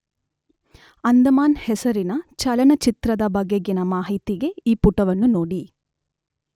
ಅಂಡಮಾನ್ ಹೆಸರಿನ ಚಲನಚಿತ್ರದ ಬಗೆಗಿನ ಮಾಹಿತಿಗೆ ಈ ಪುಟವನ್ನು ನೋಡಿ